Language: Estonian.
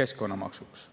keskkonnamaksuks.